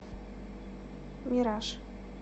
мираж